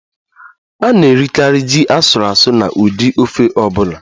A na-erikarị ji asuru asu na ụdị ofe ọ bụla